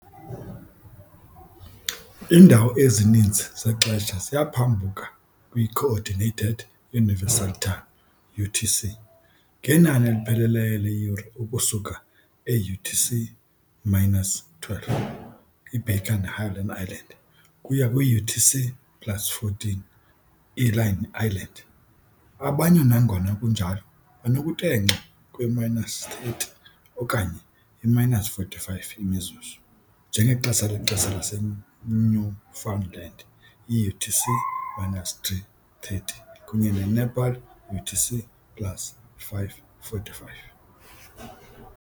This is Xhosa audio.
Iindawo ezininzi zexesha ziyaphambuka kwi-Coordinated Universal Time, UTC, ngenani elipheleleyo leeyure ukusuka e-UTC-12, i-Baker ne-Howland Islands, ukuya kwi-UTC plus 14, i-Line Islands, abanye, nangona kunjalo, banokutenxa kwe-30 okanye i-45 imizuzu, njengexesha lexesha laseNewfoundland yi-UTC-3:30 kunye ne-Nepal UTC plus 5:45.